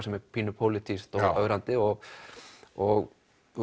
sem er pínu pólítískt og ögrandi og og